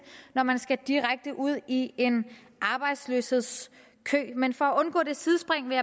når man skal direkte ud i en arbejdsløshedskø men for at undgå det sidespring vil